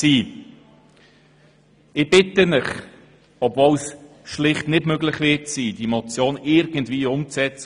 Ich bitte Sie, diese Motion mit deutlicher Mehrheit zu überweisen, obwohl es schlicht nicht möglich sein wird, diese Motionen umzusetzen.